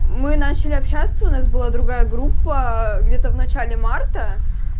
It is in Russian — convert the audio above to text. мы начали общаться у нас была другая группа где-то в начале марта